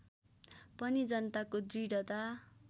पनि जनताको दृढता